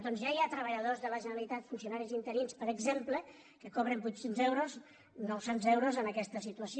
doncs ja hi ha treballadors de la gene·ralitat funcionaris i interins per exemple que cobren vuit cents euros nou cents euros en aquesta situació